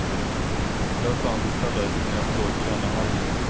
Där fanns heller inga blågröna alger.